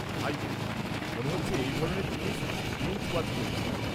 ভাই, মনে হচ্ছে এই ধরনের জিনিস তুই বিঞ্জ ওয়াচ করিস।